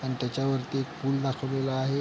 अन त्याच्या वरती एक पूल दाखवलेला आहे.